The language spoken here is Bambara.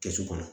Kɛsu kɔnɔ